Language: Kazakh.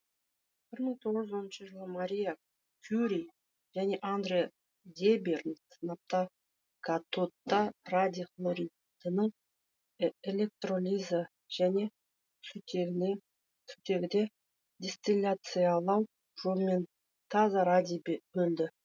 бір мың тоғыз жүз оныншы жылы мария кюри және андре дебьерн сынапты катодта радий хлоридінің электролизі және сутегіде дистилляциялау жолымен таза радий бөлді